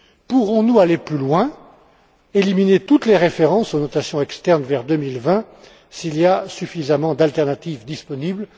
Pourrons nous aller plus loin, éliminer toutes les références aux notations externes vers 2020, s'il y a suffisamment d'alternatives disponibles?